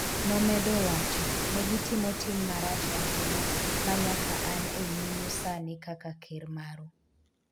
nomedo wacho'' negitimo tim marach ahinya ma nyaka an e nyimu sani kaka ker maru''